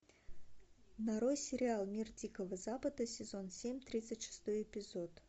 нарой сериал мир дикого запада сезон семь тридцать шестой эпизод